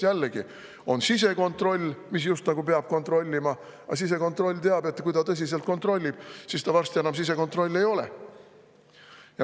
Jällegi, on sisekontroll, mis just nagu peab kontrollima, aga sisekontroll teab, et kui ta tõsiselt kontrollib, siis ta varsti enam sisekontroll ei ole.